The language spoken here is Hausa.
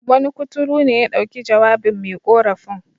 Wani kurtu ne ya dauki jawabin me ƙorafin.